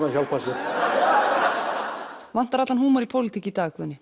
að hjálpa sér vantar allan húmor í pólitík í dag Guðni